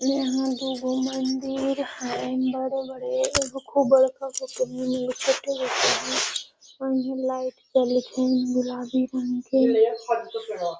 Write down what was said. ने हां दू गो मंदिर हेय बड़े बड़े एगो खूब बड़का गो के लाइट जलेएत हेय गुलाबी रंग के ।